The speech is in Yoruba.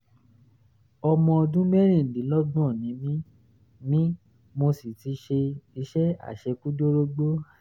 ọmọ ọdún mẹ́rìndínlọ́gbọ̀n ni mí mí mo sì ti ṣe iṣẹ́ àṣekúdórógbó